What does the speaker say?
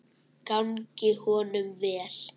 Gangi honum vel.